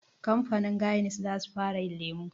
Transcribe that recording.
Kamfanin Guinness za su fara yin lemu